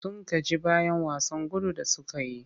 Sun gaji bayan wasan gudun da suka yi.